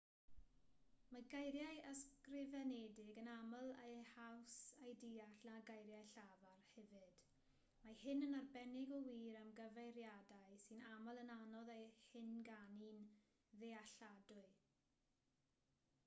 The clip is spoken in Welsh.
mae geiriau ysgrifenedig yn aml yn haws eu deall na geiriau llafar hefyd mae hyn yn arbennig o wir am gyfeiriadau sy'n aml yn anodd eu hynganu'n ddealladwy